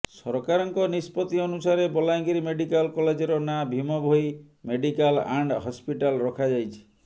ସରକାରଙ୍କ ନିଷ୍ପତ୍ତି ଅନୁସାରେ ବଲାଙ୍ଗୀର ମେଡିକାଲ କଲେଜର ନାଁ Bhima Bhoi medical and hospital ରଖାଯାଇଛି